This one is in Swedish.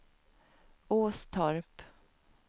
Åstorp